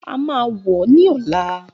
A máa wo ní ọ̀la